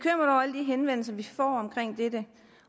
henvendelser vi får omkring dette